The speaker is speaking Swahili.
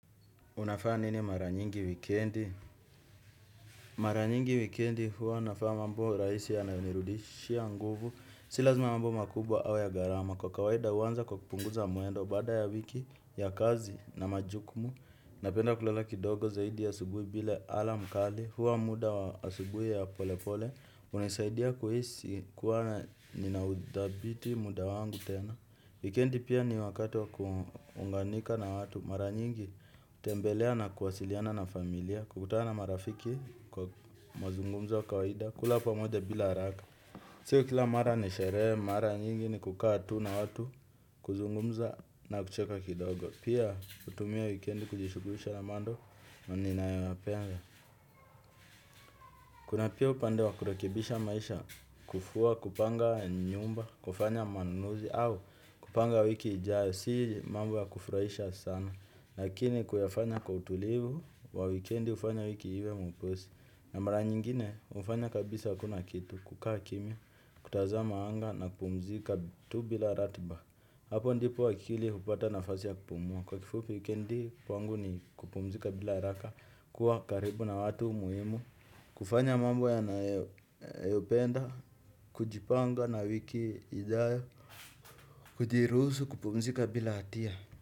Unafanya nini mara nyingi wikendi? Mara nyingi wikendi huwa nafanya mambo rahisi yanayonirudishia nguvu. Si lazima mambo makubwa au ya gharama. Kwa kawaida huanza kwa kupunguza mwendo baada ya wiki ya kazi na majukumu. Napenda kulala kidogo zaidi ya asubuhi bila alarm kali. Huwa muda wa asubuhi ya pole pole. Hunisaidia kuhisi kuwa ninaudhabiti muda wangu tena. Wikendi pia ni wakati wa kuunganika na watu. Mara nyingi hutembelea na kuwasiliana na familia, kukutana marafiki kwa mazungumzo wa kawaida, kula pamoja bila haraka. Sio kila mara ni sherehe, mara nyingi ni kukaa tu na watu, kuzungumza na kucheka kidogo. Pia hutumia wikendi kujishughulisha na mambo na ninayoyapenda. Kuna pia upande wa kurekebisha maisha, kufua, kupanga nyumba, kufanya manunuzi au kupanga wiki ijayo. Si mambo ya kufurahisha sana, lakini kuyafanya kwa utulivu, wa wikendi hufanya wiki iwe mwepesi. Na mara nyingine, hufanya kabisa hakuna kitu, kukaa kimya, kutazama wanga na kupumzika tu bila ratiba. Hapo ndipo akili hupata nafasi ya kupumua. Kwa kifupi wikendi, kwangu ni kupumzika bila haraka, kuwa karibu na watu muhimu. Kufanya mambo yanayopenda, kujipanga na wiki ijayo, kujiruhusu, kupumzika bila hatia.